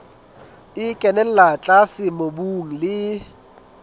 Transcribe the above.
e kenella tlase mobung le